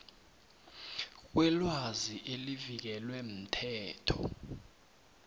kwelwazi elivikelwe mthetho